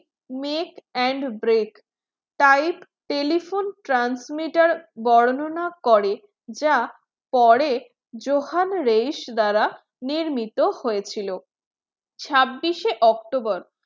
mate and break type telephone transmitter বর্ণনা করে যা পরে Johan Reis দ্বারা নির্মিত হয়েছিল ছাব্বিশে october